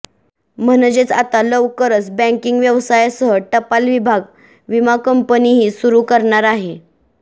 म्हणजेच आता लवकरच बँकिंग व्यवसायासह टपाल विभाग विमा कंपनीही सुरु करणार आहे